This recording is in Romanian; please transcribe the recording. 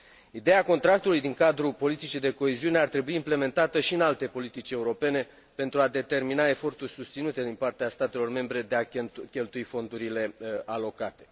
Ideea contractului din cadrul politicii de coeziune ar trebui implementată și în alte politici europene pentru a determina eforturi susținute din partea statelor membre de a cheltui fondurile alocate.